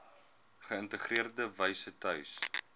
geïntegreerde wyse tuis